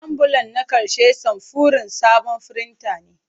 Ambulan na ƙarshe samfurin sabon firinta ne.